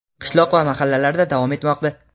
qishloq va mahallalarda davom etmoqda.